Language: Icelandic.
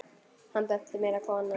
Hann benti mér að koma?